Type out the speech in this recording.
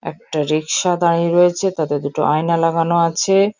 একটা রিক্সা দাঁড়িয়ে রয়েছে তাতে দুটো আয়না লাগানো আছে।